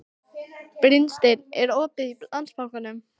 Brynsteinn, er opið í Landsbankanum?